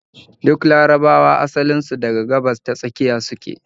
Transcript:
Duk larabawa asalin su daga Gabas-ta-Tsakiya su ke